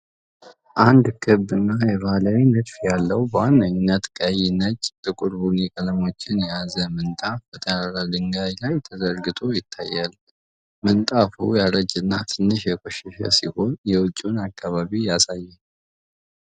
አንድ ክብ እና የባህላዊ ንድፍ ያለው በዋነኝነት ቀይ፣ ነጭ እና ጥቁር ቡኒ ቀለሞችን የያዘ ምንጣፍ በጠራራ ድንጋይ ላይ ተዘርግቶ ይታያል። ምንጣፉ ያረጀና ትንሽ የቆሸሸ ሲሆን፣ የውጭውን አከባቢ ያሳያል።